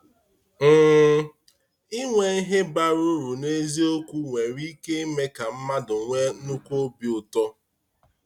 um Inwe ihe bara uru n’eziokwu nwere ike ime ka mmadụ nwee nnukwu obi ụtọ.